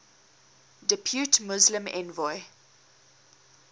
depute muslim envoy